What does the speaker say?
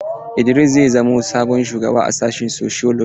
Idris zai zamo sabon shugaba a sashin sociology.